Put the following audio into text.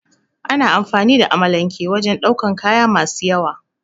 Ana amfani da amalanke wajen daukan kaya masu yawa